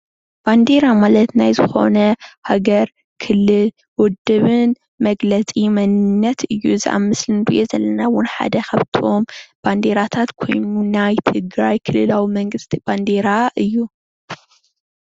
ባንደራ ማለት ናይ ዝኮነ ሃገር፣ ክልል፣ ውድብን መግለፂ መንነት እዩ፡፡ እዚ ኣብ ምስሊ እንሪኦ ዘለና እውን ሓደ ካብቶም ባንዴራታት ኮይኑ ናይ ትግራይ ክልላዊ መንግስቲ ባንዴራ እዩ፡፡